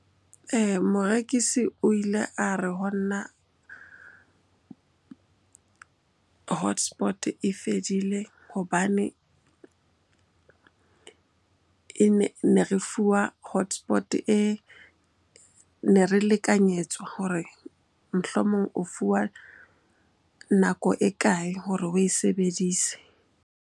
Morekisi o ile a re honna hotspot-e e fedile hobane ne re fuwa hotspot-e e, ne re lekanyetswa hore mohlomong o fuwa nako e kae hore oe sebedise.